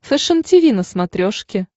фэшен тиви на смотрешке